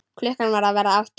Klukkan var að verða átta.